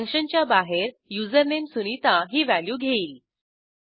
functionच्या बाहेर युझरनेम sunitaही व्हॅल्यू घेईल